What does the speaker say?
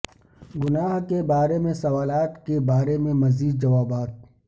گناہ کے بارے میں سوالات کے بارے میں مزید جوابات